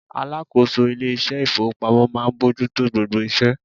Alákòóso ilé iṣẹ́ ìfowópamọ́ máa ń bójú tó gbogbo iṣẹ́.